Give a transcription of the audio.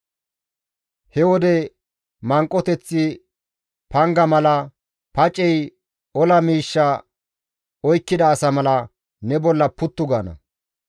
he wode manqoteththi panga mala, pacey ola miishsha oykkida asa mala ne bolla puttu gaana.